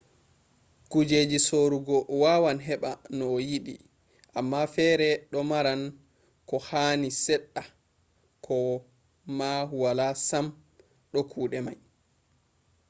kujeji sorugo wawan heɓa no a yiɗi amma fere ɗo maran ko hani seɗɗa ko ma wala sam do kuɗe mai